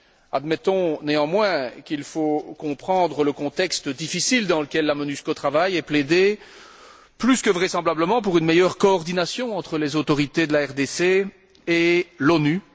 Admettons, néanmoins, qu'il faille comprendre le contexte difficile dans lequel la MONUSCO travaille et plaider plus que vraisemblablement pour une meilleure coordination entre les autorités de la RDC et l'ONU.